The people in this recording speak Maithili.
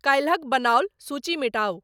काल्हिक बनाऊल सूची मिटाउ